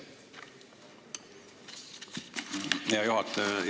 Aitäh, hea juhataja!